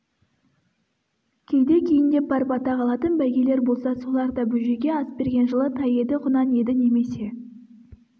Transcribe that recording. кейде кейіндеп барып атақ алатын бәйгелер болса солар да бөжейге ас берген жылы тай еді құнан еді немесе